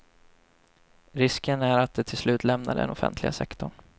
Risken är att de till slut lämnar den offentliga sektorn.